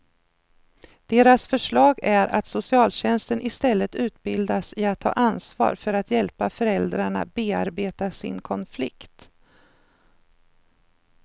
Deras förslag är att socialtjänsten istället utbildas i att ta ansvar för att hjälpa föräldrarna bearbeta sin konflikt.